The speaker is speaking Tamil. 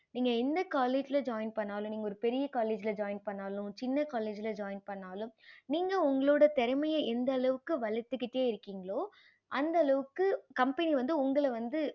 நீங்க என்ன college join பண்ணாலும் நீங்க ஒரு பெரிய college join பண்ணாலும் சின்ன college join பண்ணாலும் நீங்க உங்களோட திறமைய வளத்திட்டே இருக்கிங்களோ அந்த அளவுக்கு company வந்து உங்கள வந்து